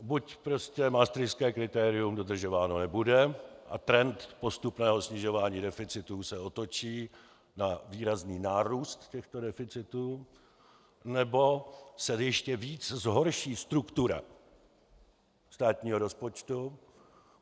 Buď prostě maastrichtské kritérium dodržováno nebude a trend postupného snižování deficitu se otočí na výrazný nárůst těchto deficitů, nebo se ještě víc zhorší struktura státního rozpočtu.